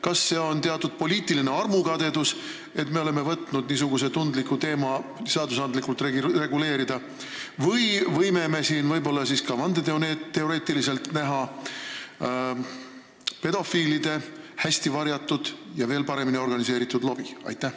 Kas see on teatud poliitiline armukadedus, et me oleme võtnud niisuguse tundliku teema seadusandlikult reguleerida, või on tegu, kui vandeteoreetiliselt läheneda, pedofiilide hästi varjatud ja veel paremini organiseeritud lobiga?